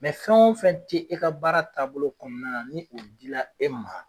fɛn o fɛn te e ka baara taabolo kɔɔna na ni o dila e ma